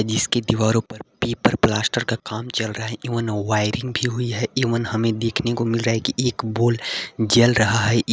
जिसके दीवारों पर पेपर प्लास्टर का काम चल रहा है एवन वायरिंग भी हुई है एवन हमें देखने को मिल रहा है कि एक बॉल जल रहा है।